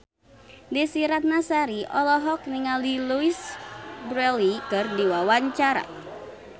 Desy Ratnasari olohok ningali Louise Brealey keur diwawancara